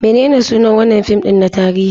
Menene sunan wannan fim din na tarihi?